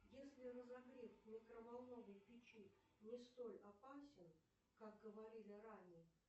если разогрев в микроволновой печи не столь опасен как говорили ранее